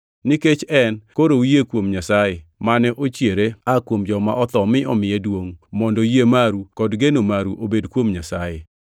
Nikech En, koro uyie kuom Nyasaye, mane ochiere oa kuom joma otho mi omiye duongʼ mondo yie maru kod geno maru obed kuom Nyasaye.